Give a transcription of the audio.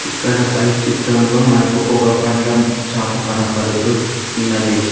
ఇక్కడ పై చిత్రంలో మనకు ఒక పండ్లం షాపు కనపడుతూ ఉన్నది.